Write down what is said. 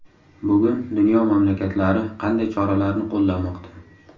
Bugun dunyo mamlakatlari qanday choralarni qo‘llamoqda?